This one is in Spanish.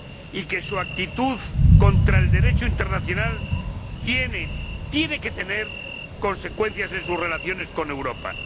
y que su actitud contra el Derecho internacional tiene que tener consecuencias en sus relaciones con Europa.